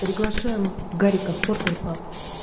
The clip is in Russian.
приглашаем гарика в портер паб